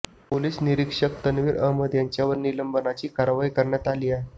police निरीक्षक तन्वीर अहमद यांच्यावर निलंबनाची कारवाई करण्यात आलीय